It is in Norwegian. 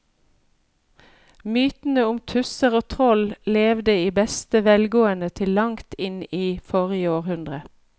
Mytene om tusser og troll levde i beste velgående til langt inn i forrige århundre.